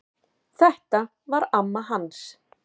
Þetta var amma hans